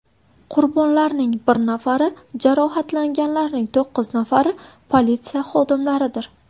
Qurbonlarning bir nafari, jarohatlanganlarning to‘qqiz nafari politsiya xodimlaridir.